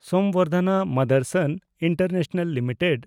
ᱥᱚᱢᱵᱚᱨᱫᱷᱚᱱᱟ ᱢᱟᱫᱮᱱᱰᱥᱚᱱ international limited